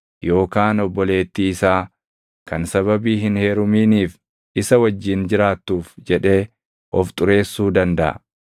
yookaan obboleettii isaa kan sababii hin heeruminiif isa wajjin jiraattuuf jedhee of xureessuu dandaʼa.